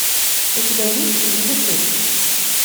у тебя есть не дыши